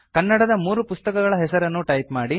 ಕನ್ನಡದ ಮೂರು ಪುಸ್ತಕಗಳ ಹೆಸರನ್ನು ಟೈಪ್ ಮಾಡಿ